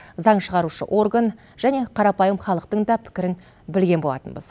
заң шығарушы орган және қарапайым халықтың да пікірін білген болатынбыз